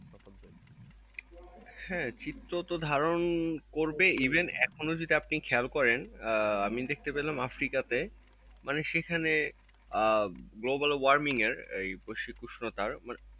হ্যাঁ চিত্রতো ধারণ করবেই even এখনো যদি আপনি খেয়ল করেন আমি দেখতে পেলাম আফ্রিকাতে মানে সেখানে আহ global warming এর আহ বৈশ্বিক উষ্ণতার মানে,